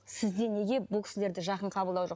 сізде неге бұл кісілерді жақын қаблдау жоқ